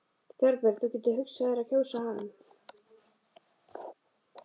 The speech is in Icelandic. Þorbjörn: Þú getur hugsað þér að kjósa hann?